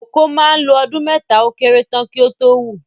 Kòkó mà ń lo ọdún mẹ́ta ó kéré tán kí ó tó wù